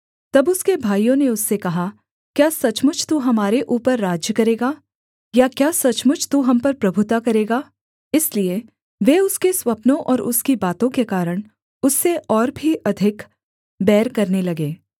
तब उसके भाइयों ने उससे कहा क्या सचमुच तू हमारे ऊपर राज्य करेगा या क्या सचमुच तू हम पर प्रभुता करेगा इसलिए वे उसके स्वप्नों और उसकी बातों के कारण उससे और भी अधिक बैर करने लगे